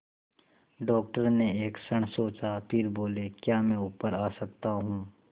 doctor ने एक क्षण सोचा फिर बोले क्या मैं ऊपर आ सकता हूँ